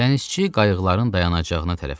Dənizçi qayıqların dayanacağına tərəf qaçdı.